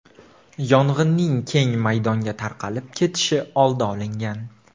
Yong‘inning keng maydonga tarqalib ketishi oldi olingan.